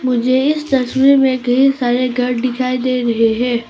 मुझे इस तस्वीर में कई सारे घर दिखाई दे रहे हैं।